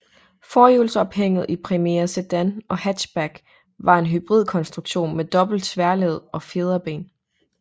Forhjulsophænget i Primera sedan og hatchback var en hybrid konstruktion med dobbelte tværled og fjederben